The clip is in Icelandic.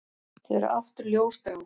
Þau eru aftur ljósgrá.